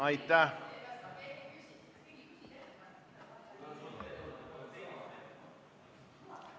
Aitäh!